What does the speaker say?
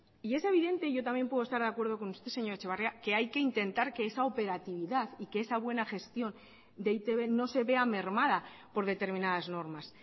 y es evidente yo también puedo estar de acuerdo con usted señor etxebarria que hay que intentar que esa operatividad y que esa buena gestión de e i te be no se vea mermada por determinadas normas